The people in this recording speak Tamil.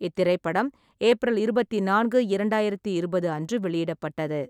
இத்திரைப்படம் ஏப்ரல் இருபத்தி நான்கு, இரண்டாயிரத்து இருபது அன்று வெளியிடப்பட்டது.